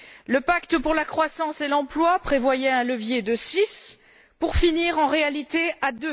Le pacte pour la croissance et l'emploi prévoyait un levier de 6 pour finir en réalité à